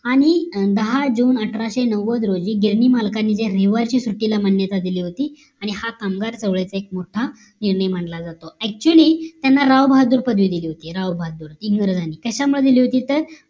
आणि दहा जून अठराशे नव्वद रोजी गिरणी मालकांनी रविवारची सुट्टीला मान्यता दिली होती आणि कामगार चळवळीचा एक मोठा निर्णय मानला जातो actually त्यांना राव बहाद्दूर पदवी दिली होती राव बहादूर इंग्रजांनी कशामध्ये दिली होती तर